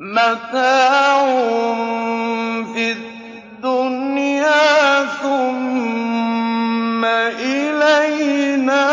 مَتَاعٌ فِي الدُّنْيَا ثُمَّ إِلَيْنَا